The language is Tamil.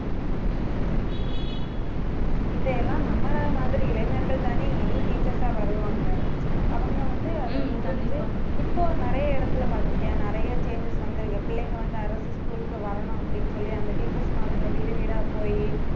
இதையெல்லாம் நம்மள மாதிரி இளைஞர்கள் தானே இனி teachers ஆ வருவாங்க. அவங்க வந்து, இப்போ நிறைய இடத்திலே பார்த்திருக்கியா நிறைய changes வந்திருக்கு பிள்ளைங்க வந்து, அரசு school க்கு வரணும் அப்படின்னு சொல்லி அந்த teachers மாருங்க வீடு வீடா போயி